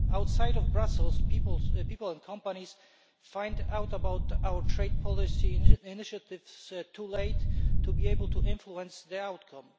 Outside of Brussels, people and companies find out about our trade policy initiatives too late to be able to influence the outcome.